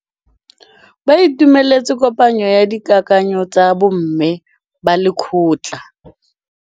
Ba itumeletse kôpanyo ya dikakanyô tsa bo mme ba lekgotla.